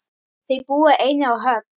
Þau búa einnig á Höfn.